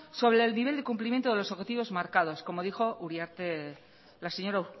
sobre el nivel de cumplimiento de los objetivos marcados como dijo la señora